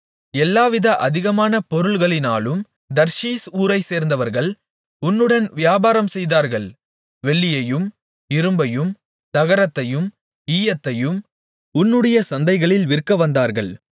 எல்லாவித அதிகமான பொருள்களினாலும் தர்ஷீஸ் ஊரைச்சேர்ந்தவர்கள் உன்னுடன் வியாபாரம் செய்தார்கள் வெள்ளியையும் இரும்பையும் தகரத்தையும் ஈயத்தையும் உன்னுடைய சந்தைகளில் விற்க வந்தார்கள்